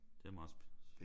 Det er meget